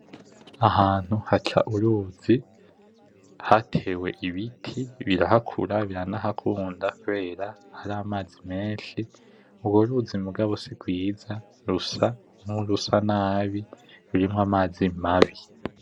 Ahantu haca uruzi hatewe ibiti birahakura biranahakunda kubera hari mazi menshi ,urwo ruzi muga si rwiza rusa kurusa nabi rurimwo amazi mabi.